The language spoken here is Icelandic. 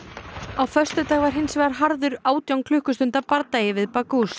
á föstudag var hins vegar harður átján klukkustunda bardagi við